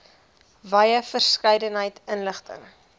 wye verskeidenheid inligting